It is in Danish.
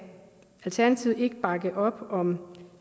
alternativet ikke bakke op om